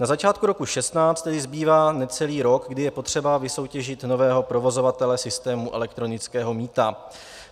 Na začátku roku 2016 tedy zbývá necelý rok, kdy je potřeba vysoutěžit nového provozovatele systému elektronického mýta.